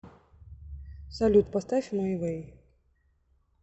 салют поставь май вэй